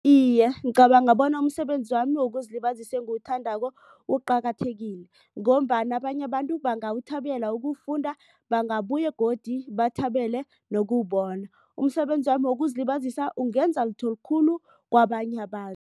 Iye, ngicabanga bona umsebenzi wami wokuzilibazisa engiwuthandako uqakathekile. Ngombana abanye abantu bangawuthabela ukuwufunda bangabuye godu bathabele nokuwubona. Umsebenzi wami wokuzilibazisa ungenza litho likhulu kwabanye abantu.